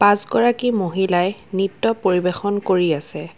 পাঁচ গৰাকী মহিলাই নৃত্য পৰিৱেশন কৰি আছে।